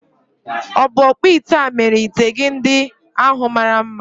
Ọ̀ bụ ọkpụite a mere ite gị ndị ahu mara mma?